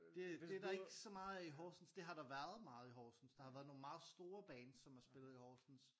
Det det er der ikke så meget af Horsens det har der været meget i Horsens der har været nogle meget store bands som har spillet i Horsens